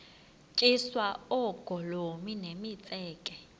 tyiswa oogolomi nemitseke